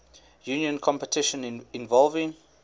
union competition involving